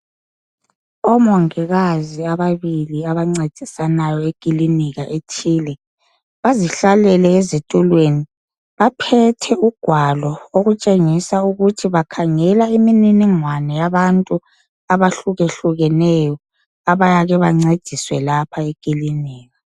Omongikazi ababili abancedisayo eclinika ethile bazihlalela ezitulweni baphethe ugwalo okutshengisa ukuthi babhala imniningwane yabantu abahluke hlukeneyo abayake bebancedise lapha eclinikhi